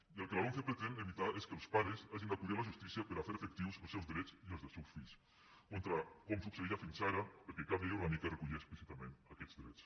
i el que la lomce pretén evitar és que els pares hagin d’acudir a la justícia per a fer efectius els seus drets i els dels seus fills com succeïa fins ara perquè cap llei orgànica recollia explícitament aquests drets